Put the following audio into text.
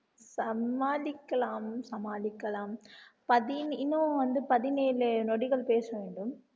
சமாளிக்கலாம் சமாளிக்கலாம் இன்னும் வந்து பதினேழு நொடிகள் பேச வேண்டும்